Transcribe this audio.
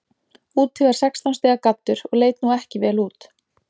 Úti var sextán stiga gaddur og leit nú ekki vel út.